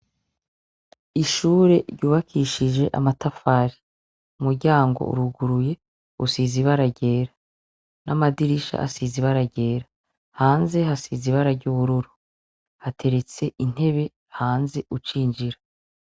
Ishure ryubakishije amatafari, umuryango uruguruye, usize ibara ryera n'amadirisha asize ibara ryera. Hanze hasize ibara ry'ubururu. Hateretse intebe hanze ucinjira.